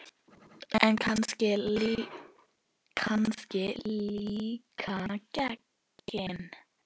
En kannski líka genin.